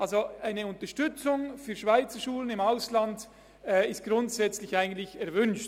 Also: Eine Unterstützung für Schweizerschulen im Ausland ist grundsätzlich eigentlich erwünscht.